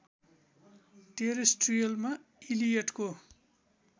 टेरेस्ट्रियलमा इलियटको